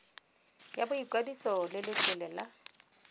ya boikwadiso le letlole la